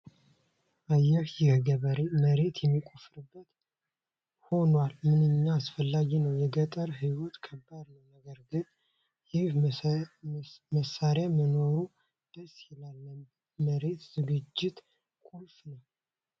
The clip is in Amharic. አየህ! ይህ ገበሬ መሬት የሚቆፍርበት ሆኗ ምንኛ አስፈላጊ ነው! የገጠር ሕይወት ከባድ ነው፤ ነገር ግን ይህ መሣሪያ መኖሩ ደስ ይላል! ለመሬት ዝግጅት ቁልፍ ነው!